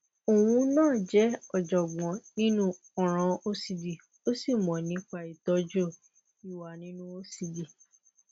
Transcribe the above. óun na je ojogboǹ nínú ọràn ocd ó sì mọ nípa ìtọjú ìwà nínú ocd